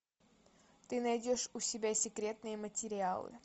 ты найдешь у себя секретные материалы